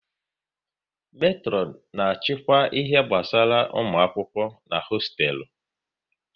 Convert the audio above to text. Metron na achịkwa ihe gbasara ụmụ akwụkwọ n'hosteelu